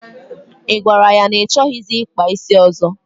Ị gwara ya na ị chọghịzị ịkpa isi ọzọ?